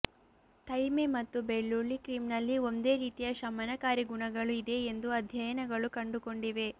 thyme ಮತ್ತು ಬೆಳ್ಳುಳ್ಳಿ cream ನಲ್ಲಿ ಒಂದೇ ರೀತಿಯ ಶಮನಕಾರಿ ಗುಣಗಳು ಇದೆ ಎಂದು ಅಧ್ಯಯನಗಳು ಕಂಡುಕೊಂಡಿವೆ